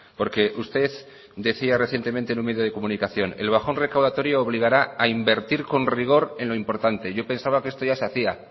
porque usted decía recientemente en un medio de comunicación el bajón recaudatorio obligará a invertir con rigor en lo importante yo pensaba que esto ya se hacía